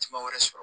Jama wɛrɛ sɔrɔ